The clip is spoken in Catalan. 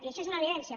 i això és una evidència